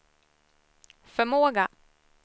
förmåga